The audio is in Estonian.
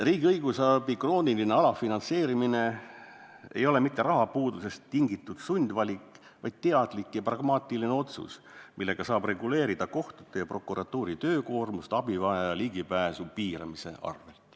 riigi õigusabi krooniline alafinantseerimine ei ole mitte rahapuudusest tingitud sundvalik, vaid teadlik ja pragmaatiline otsus, millega saab reguleerida kohtute ja prokuratuuri töökoormust abivajajate ligipääsu piiramise arvelt.